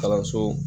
Kalanso